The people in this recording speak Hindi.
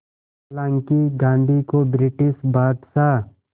हालांकि गांधी को ब्रिटिश बादशाह